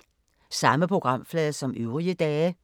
Samme programflade som øvrige dage